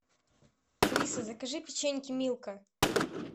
алиса закажи печеньки милка